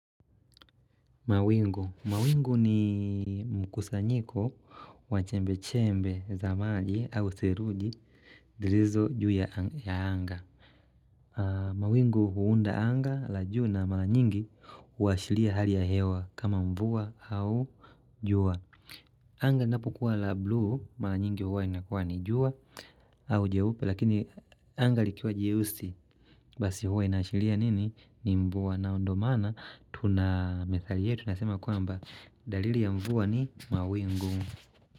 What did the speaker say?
Mawingu ni mkusanyiko wa chembechembe za maji au seruji zirizo juu ya anga. Mawingu huunda anga la juu na mala nyingi huashilia hali ya hewa kama mvua au jua. Anga inapokuwa la blue, mala nyingi huwa inakuwa ni jua au jeupe. Lakini angali likiwa jeusi Basi huwa inaashilia nini ni mvua na ndo maana Tuna methali yetu inasema kuamba dalili ya mvua ni mawingu.